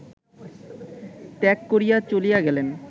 ত্যাগ করিয়া চলিয়া গেলেন